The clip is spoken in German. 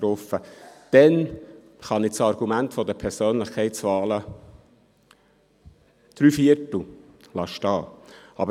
In diesem Fall kann ich das Argument der Persönlichkeitswahlen zu drei Vierteln stehen lassen.